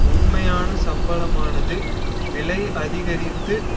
உண்மையான சம்பளமானது விலை அதிகரித்து